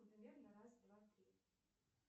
на раз два три